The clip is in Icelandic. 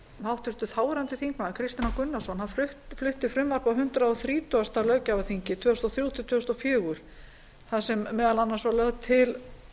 háttvirtur þáverandi þingmaður kristinn h gunnarsson flutti frumvarp á hundrað þrítugasta löggjafarþingi tvö þúsund og þrjú til tvö þúsund og fjögur þar sem meðal annars var lögð til